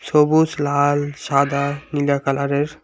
সবুজ লাল সাদা নীলা কালারের।